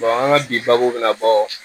an ka bi babu bɛna bɔ